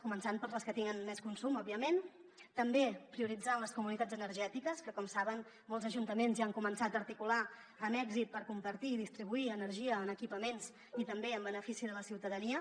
començant per les que tenen més consum òbviament també prioritzant les comunitats energètiques que com saben molts ajuntaments ja han començat a articular amb èxit per compartir i distribuir energia en equipaments i també en benefici de la ciutadania